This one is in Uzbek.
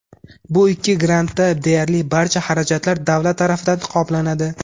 Bu ikki grantda deyarli barcha xarajatlar davlat tarafidan qoplanadi.